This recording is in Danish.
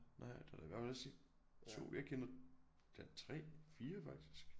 Nej der er da godt nok vist ikke 2 jeg kender da 3 4 faktisk